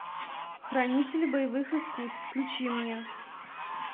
хранители боевых искусств включи мне